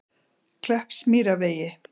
Kleppsmýrarvegi